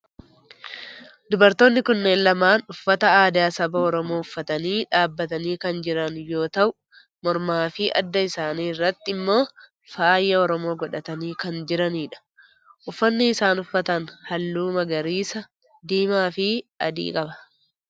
Dubartoonni kunneen lamaan uffata aadaa saba oromoo uffatanii dhaabbatanii kan jiran yoo ta'u mormaa fi adda isaanii irratti immoo faaya oromoo godhatanii kan jiranidha. Uffanni isaan uffatan halluu magariisa, diimaa fi adii qaba.